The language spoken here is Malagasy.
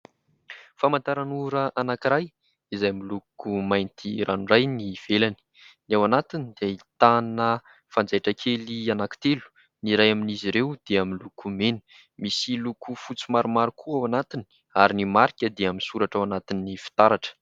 Famantaranora anankiray izay miloko mainty ranoray ny ivelany. Ny ao anatiny dia ahitana fanjaitra kely anankitelo, ny iray amin'izy ireo dia miloko mena. Misy loko fotsy maromaro koa ao anatiny ary ny marika dia misoratra ao anatin'ny fitaratra.